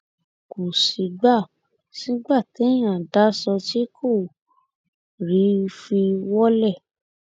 kò sígbà sígbà téèyàn daṣọ tí kò rí i fi wọlẹ